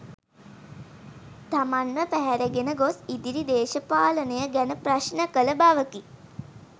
තමන්ව පැහැරගෙන ගොස්‌ ඉදිරි දේශපාලනය ගැන ප්‍රශ්න කළ බවකි.